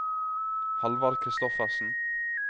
Halvard Christoffersen